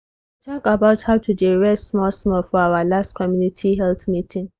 we talk about how to dey rest small-small for our last community health meeting.